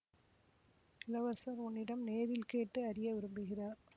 இளவரசர் உன்னிடம் நேரில் கேட்டு அறிய விரும்புகிறார்